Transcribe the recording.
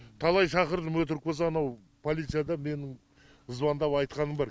талай шақырдым өтірік болса анау полицияда менің звандап айтқаным бар